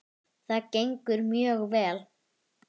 Það gengur mjög vel.